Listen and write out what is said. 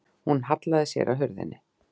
Hún hallaði sér að hurðinni.